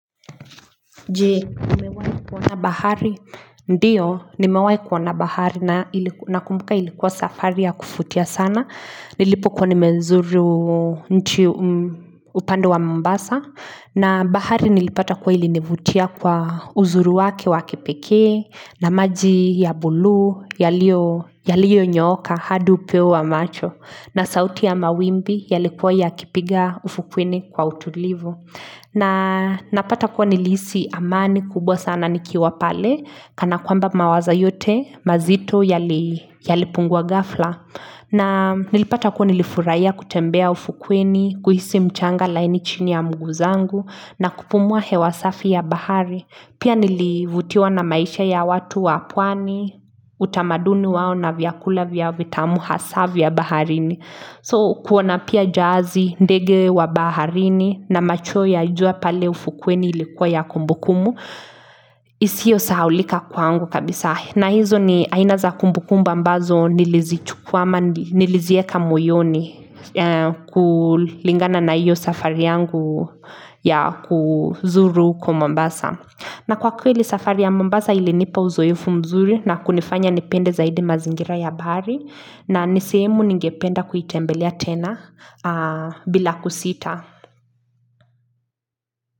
Je, umewahi kuona bahari, ndiyo, nimewahi kuona bahari nakumbuka ilikuwa safari ya kuvutia sana, nilipokuwa nimezuru nchi upande wa Mombasa, na bahari nilipata kuwa ilinivutia kwa uzuri wake wa kipekee na maji ya buluu, yalionyooka hadi upeo wa macho na sauti ya mawimbi yalikuwa yakipiga ufukweni kwa utulivu. Na napata kuwa nilihisi amani kubwa sana nikiwa pale kana kwamba mawazo yote mazito yalipungua ghafla na nilipata kuwa nilifurahia kutembea ufukweni, kuhisi mchanga laini chini ya mguu zangu na kupumua hewa safi ya bahari. Pia nilivutiwa na maisha ya watu wa pwani utamaduni wao na vyakula vyao vitamu hasaa vya baharini. So kuona pia jahazi, ndege wa baharini na macho ya jua pale ufukweni ilikuwa ya kumbukumbu isiyo sahaulika kwaangu kabisa. Na hizo ni aina za kumbukumba ambazo nilizichukua ama niliziweka moyoni kulingana na hiyo safari yangu ya kuzuru huko Mombasa na kwa kweli safari ya Mombasa ilinipa uzoefu mzuri na kunifanya nipende zaidi mazingira ya bahari na ni sehemu ningependa kuitembelea tena bila kusita.